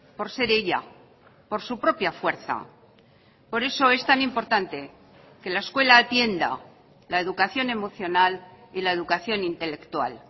por ser ella por su propia fuerza por eso es tan importante que la escuela atienda la educación emocional y la educación intelectual